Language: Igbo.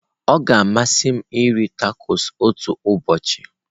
Ọ ga-amasị m iri tacos otu ụbọchị.